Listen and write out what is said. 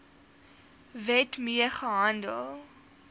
wet mee gehandel